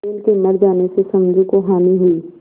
बैल के मर जाने से समझू को हानि हुई